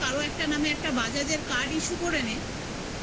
নামে কারো একটা নামে একটা bajaj র card issue করে নে